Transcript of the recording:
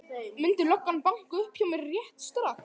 Myndi löggan banka upp á hjá mér rétt strax?